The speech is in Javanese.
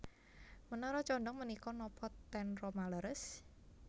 Menara condong menika nopo ten Roma leres?